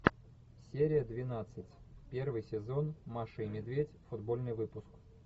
серия двенадцать первый сезон маша и медведь футбольный выпуск